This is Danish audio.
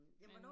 Men